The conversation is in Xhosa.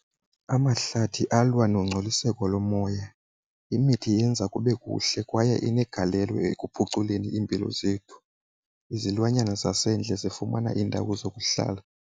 Amahlathi alwa nongcoliseko lomoya. Imithi yenza kube kuhle kwaye inegalelo ekuphuculeni iimpilo zethu. Izilwanyana zasendle zifumana iindawo zokuhlala.